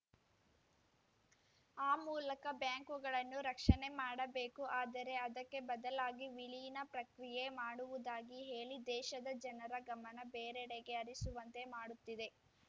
ಆ ಮೂಲಕ ಬ್ಯಾಂಕುಗಳನ್ನು ರಕ್ಷಣೆ ಮಾಡಬೇಕು ಆದರೆ ಅದಕ್ಕೆ ಬದಲಾಗಿ ವಿಲೀನ ಪ್ರಕ್ರಿಯೆ ಮಾಡುವುದಾಗಿ ಹೇಳಿ ದೇಶದ ಜನರ ಗಮನ ಬೇರೆಡೆಗೆ ಹರಿಸುವಂತೆ ಮಾಡುತ್ತಿದೆ